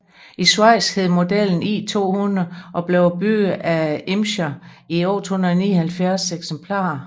I Schweiz hed modellen i200 og blev bygget af Irmscher i 879 eksemplarer